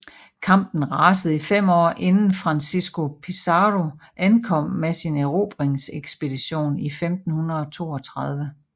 Kampen rasede i fem år inden Francisco Pizarro ankom med sin erobringsekspedition i 1532